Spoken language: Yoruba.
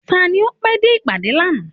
Tani o pé dé ìpàdé lànà?